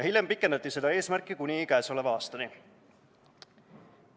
Hiljem pikendati selle eesmärgi saavutamist kuni käesoleva aastani.